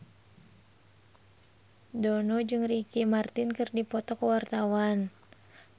Dono jeung Ricky Martin keur dipoto ku wartawan